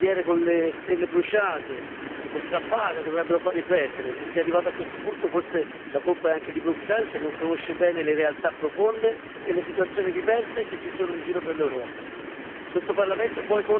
Episodi come bandiere con le stelle bruciate o strappate dovrebbero far riflettere se si è arrivati a questo punto, forse la colpa è anche di Bruxelles che non conosce bene le realtà profonde e le situazioni diverse che ci sono in giro per l'Europa.